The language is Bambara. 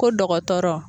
Ko dɔgɔtɔrɔ